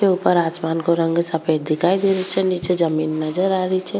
ऊपर आसमान का रंग सफ़ेद दिखाई दे रो छे नीचे जमीन नजर आ रही छे।